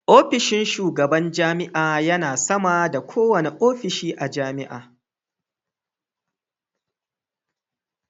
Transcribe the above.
Ofishin shugaban jami'a yana sama da kowane ofishi a jami'a.